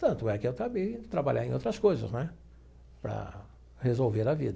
Tanto é que eu acabei trabalhar em outras coisas né para resolver a vida.